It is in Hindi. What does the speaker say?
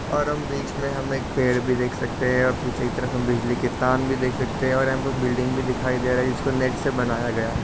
और हम बीच मे हम एक पेड़ भी देख सकते है। पीछे की तरफ हम बिजली की तार भी देख सकते है और यहाँ पर बिल्डिंग भी दिखाई दे रही है। जिसको नेट से बनाया गया है।